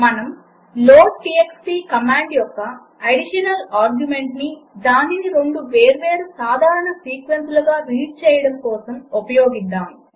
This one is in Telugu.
మనము లోడ్టీఎక్స్టీ కమాండ్ యొక్క అడిషనల్ ఆర్గ్యుమెంట్ని దానిని రెండు వేర్వేరు సాధారణ సీక్వెన్సులుగా రీడ్ చేయడం కోసం ఉపయోగిద్దాము